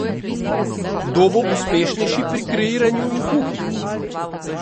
Kdo bo uspešnejši pri kreiranju in kuhi?